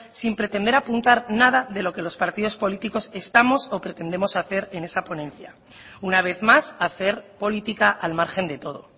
sin pretender apuntar nada de los que los partidos políticos estamos o pretendemos hacer en esa ponencia una vez más hacer política al margen de todo